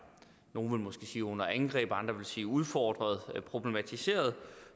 nogle vil måske sige under angreb og andre vil sige udfordret problematiseret